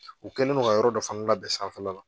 U kɛlen don ka yɔrɔ dɔ fana labɛn sanfɛ la